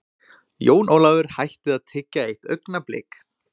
Jón Ólafur hætti að tyggja eitt augnablik.